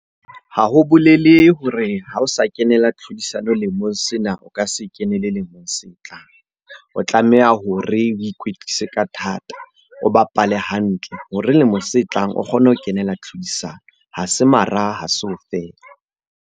Ha ho bolele hore ha o sa kenela tlhodisano lemong sena o ka se kene le lemong se tlang. O tlameha hore o ikwetlise ka thata, o bapale hantle hore lemong se tlang o kgone ho kenela tlhodisano. Ha se mara, ha se ho fela.